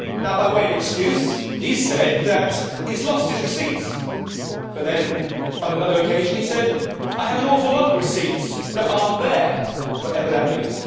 By way of excuse, he said that he has lost his receipts, but then, on another occasion he said I have an awful lot of receipts that aren't there' whatever that means.